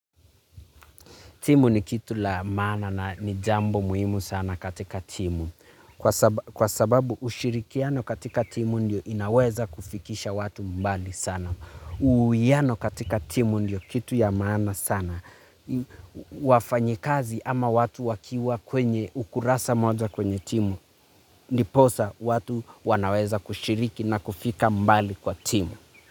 Timu ni kitu la maana na ni jambo muhimu sana katika timu. Kwa saba kwa sababu ushirikiano katika timu ndio inaweza kufikisha watu mbali sana. Uwiano katika timu ndio kitu ya maana sana. Wafanyikazi ama watu wakiwa kwenye ukurasa moja kwenye timu. Ndiposa watu wanaweza kushiriki na kufika mbali kwa timu.